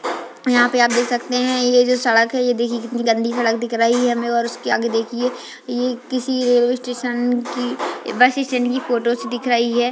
यहाँ पे आप देख सकते है ये जो सड़क है ये देखिए कितनी गंदी दिख रही है हमें और उस के आगे देखिए किसी रेलवे स्टेशन की बस स्टैंड की फ़ोटोज़ दिख रही है।